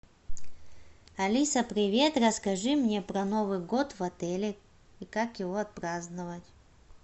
алиса привет расскажи мне про новый год в отеле и как его отпраздновать